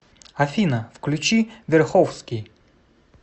афина включи верховски